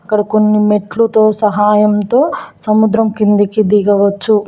ఇక్కడ కొన్ని మెట్లుతో సహాయంతో సముద్రం కిందికి దిగవచ్చు.